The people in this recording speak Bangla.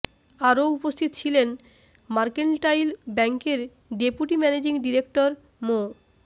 আরও উপস্থিত ছিলেন মার্কেন্টাইল ব্যাংকের ডেপুটি ম্যানেজিং ডিরেক্টর মো